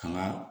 Kanga